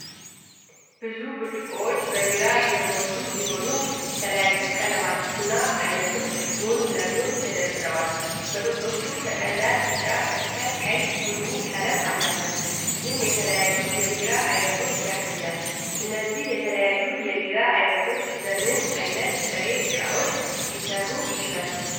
ብዙ ብርጭቆዎች በቢራ የተሞሉ ሲሆን፣ የተለያዩ ቀለማትና አይነቶች ጎን ለጎን ተደርድረዋል። መጠጦቹ ከቀላል ቢጫ እስከ ቀይ ቡኒ ቀለም አላቸው፤ ይህም የተለያዩ የቢራ አይነቶችን ያሳያል። እነዚህ የተለያዩ የቢራ ዓይነቶች በምን አይነት ጥሬ ዕቃዎች ሊሠሩ ይችላሉ?